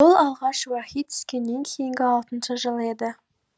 бұл алғаш уаһи түскеннен кейінгі алтыншы жыл еді